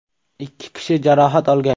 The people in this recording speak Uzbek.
Ikki kishi jarohat olgan.